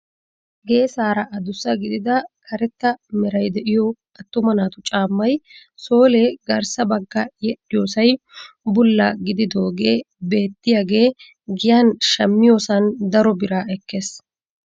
Geesaara adussa gidida karetta meray de'iyoo attuma naatu caammay soole garssa bagga yedhiyoosay bulla gididogee beettiyaage giyan shammiyoosan daro biraa ekkees.